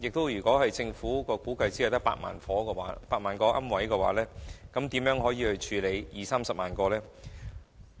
如果政府估計受影響的龕位只有8萬個，屆時將如何處理二三十萬個龕位？